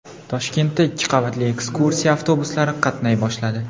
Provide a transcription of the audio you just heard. Toshkentda ikki qavatli ekskursiya avtobuslari qatnay boshladi .